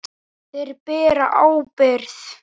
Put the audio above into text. Þeir bera ábyrgð.